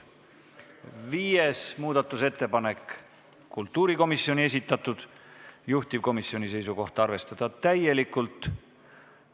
Viies muudatusettepanek on kultuurikomisjoni esitatud, juhtivkomisjoni seisukoht on arvestada täielikult.